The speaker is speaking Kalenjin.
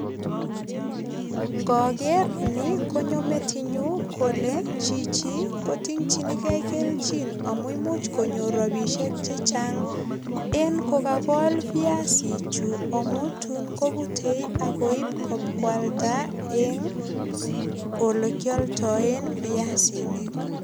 Ngoker ni konyo metinyu, kole chichi kotingchini gee kelchin amu imuch konyor ropisiek che chang eng kokakol piasichu amu tun kobute ak koip bokwalda eng olekialdoen piasinik.